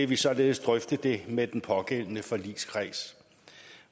vi således drøfte det med den pågældende forligskreds